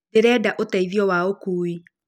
Ndĩrenda ũteithio wa ũkuui